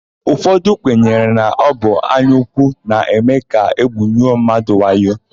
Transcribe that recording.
Ụfọdụ kwenyere na ọ bụ anyaúkwú na-eme ka égwùnwuo mmadụ wayo.